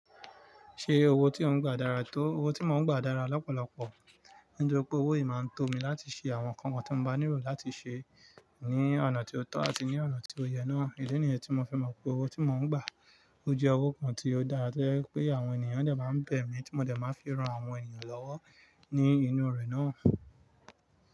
Ṣé owó tí ò ń gbà dára tó? Owó tí mò ń gbà dára lọ́pọ̀lọpọ̀. Nítorí pé owó yìí máa ń tó mi láti ṣe àwọn nǹkan kan tí mo bá nílò láti ṣe ní ọ̀nà tí ó tọ́ àti ní ọ̀nà tí ó yẹ náà. Ìdí nìyẹn tí mo fẹ́ mọ̀ pé owó tí mo ń gbà, ó jẹ́ owó kan tí ó dára tó jẹ́ wípé àwọn ènìyàn dẹ̀ máa ń bẹ̀ mí tí mo dẹ̀ máa fi ran àwọn ènìyàn lọ́wọ́ ní inú rẹ̀ náà.